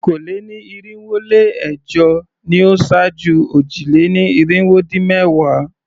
Okòó-lé-ní-irinwó-lé-ẹ̀jọ ni ó ṣáájú òjì-lé-ní-irinwó-dín-ẹ̀wá.